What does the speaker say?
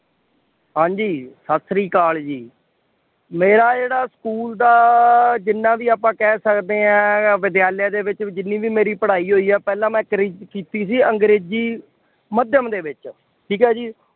ਹਾਂਜੀ ਸਤਿ ਸ੍ਰੀ ਅਕਾਲ ਜੀ, ਮੇਰਾ ਜਿਹੜਾ ਸਕੂਲ ਦਾ ਜਿੰਨਾ ਵੀ ਆਪਾਂ ਕਹਿ ਸਕਦੇ ਹਾਂ ਵਿਦਿਆਲਿਆ ਦੇ ਵਿੱਚ ਜਿੰਨੀ ਵੀ ਮੇਰੀ ਪੜ੍ਹਾਈ ਹੋਈ ਹੈ, ਪਹਿਲਾਂ ਮੈਂ ਕਰੀ ਕੀਤੀ ਸੀ ਅੰਗਰੇਜ਼ੀ ਮਾਧਿਅਮ ਦੇ ਵਿੱਚ, ਠੀਕ ਹੈ ਜੀ,